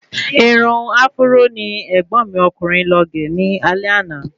Irun áfúró ni ẹ̀gbọ́n mi ọkùnrin lọ gé ní alé àná